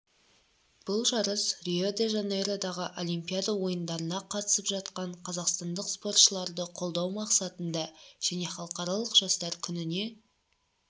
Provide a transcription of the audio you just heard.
бұл жарыс рио-де-жанейродағы олимпиада ойындарына қатысып жатқан қазақстандық спортшыларды қолдау мақсатында және халықаралық жастар күніне